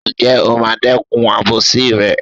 Ǹjẹ́ o máa dẹ́kun àbòsí rẹ̀?